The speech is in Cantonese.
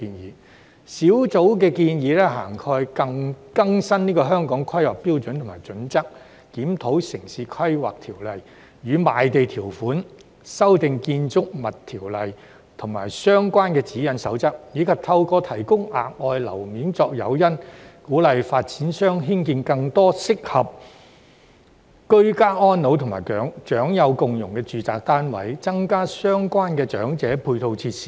工作小組建議涵蓋更新《香港規劃標準與準則》、檢討《城市規劃條例》與賣地條款、修訂《建築物條例》及相關的指引守則，以及透過提供額外樓面作誘因，鼓勵發展商興建更多適合居家安老及長幼共融的住宅單位，增加相關的長者配套設施。